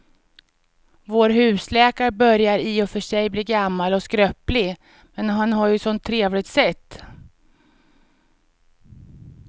Vår husläkare börjar i och för sig bli gammal och skröplig, men han har ju ett sådant trevligt sätt!